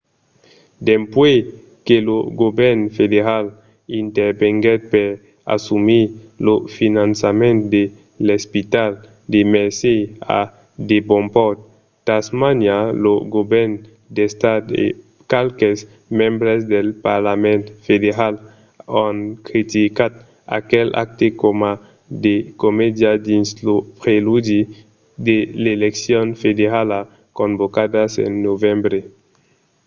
dempuèi que lo govèrn federal intervenguèt per assumir lo finançament de l’espital de mersey a devonport tasmania lo govèrn d’estat e qualques membres del parlament federal an criticat aquel acte coma de comèdia dins lo preludi de l’eleccion federala convocadas en novembre